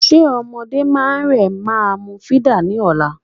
Ṣe ọmọdé máa rẹ máa mu fídà ní ọ̀la?